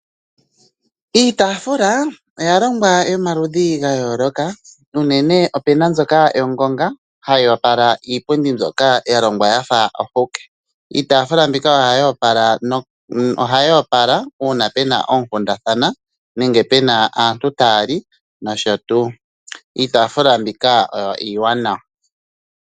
Iitafuula oya longwa yomaludhi ga yooloka unene opena mbyoka yongonga hayi opala iipundi mbyoka ya longwa yafa ohuke. Iitafuula mbika ohayi opala uuna pena oonkundathana nenge pena aantu taya li nosho tuu. Iitafuula mbika oyo iiwanawa.